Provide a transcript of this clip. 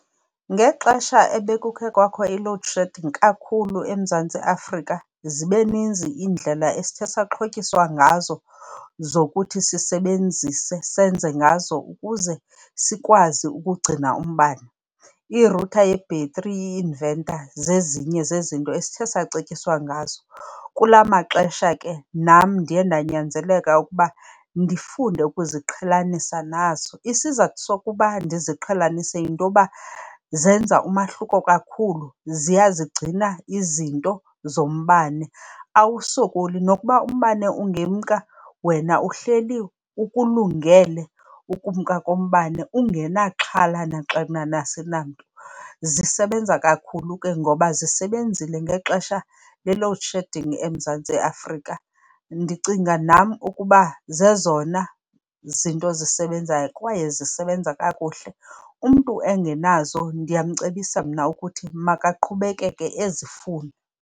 Ngexesha ebekukhe kwakho i-load shedding kakhulu eMzantsi Afrika zibe ninzi iindlela esithe saxhotyiswa ngazo zokuthi sisebenzise, senze ngazo ukuze sikwazi ukugcina umbane. Irutha yebhetri, i-invertor zezinye zezinto esithe sacetyiswa ngazo. Kula maxesha ke nam ndiye ndanyanzeleka ukuba ndifunde ukuziqhelanisa nazo. Isizathu sokuba ndiziqhelanise yinto yoba zenza umahluko kakhulu, ziyazigcina izinto zombane. Awusokoli, nokuba umbane ungemka wena uhleli ukulungele ukumka kombane, ungenaxhala naxanana . Zisebenza kakhulu ke ngoba zisebenzile ngexesha le-load shedding eMzantsi Afrika. Ndicinga nam ukuba zezona zinto zisebenzayo, kwaye zisebenza kakuhle. Umntu engenazo ndiyamcebisa mna ukuthi makaqhubekeke ezifuna.